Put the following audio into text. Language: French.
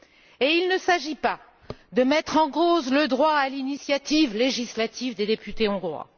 Et il ne s'agit pas de mettre en cause le droit à l'initiative législative des députés hongrois.